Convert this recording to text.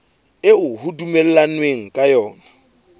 eo ho dumellanweng ka yona